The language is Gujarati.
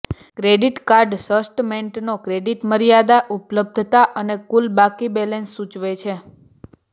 ક્રેડિટ કાર્ડ સ્ટટમેન્ટનો ક્રેડિટ મર્યાદા ઉપલબ્ધતા અને કુલ બાકી બેલેન્સ સૂચવે છે